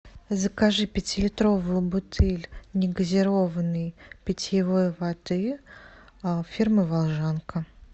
закажи пятилитровую бутыль негазированной питьевой воды фирмы волжанка